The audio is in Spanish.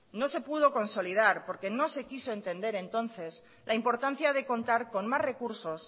no se pudo consolidar porque no se quiso entender entonces la importancia de contar con más recursos